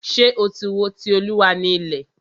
Ṣé o tí wo "Ti Olúwa ni ilẹ̀"?